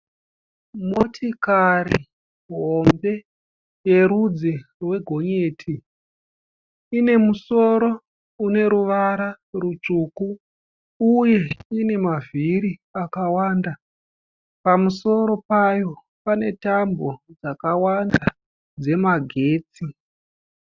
Motikari hombe yerudzi rwegonyeti, ine musoro une ruvara rutsvuku uye ine mavhiri akawanda. Pamusoro payo pane tambo dzakawanda dzemagetsi.